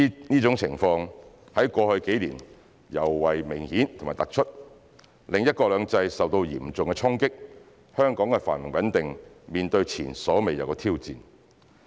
這種情況在過去幾年尤為明顯及突出，令"一國兩制"受到嚴重衝擊，香港的繁榮穩定面對前所未有的挑戰。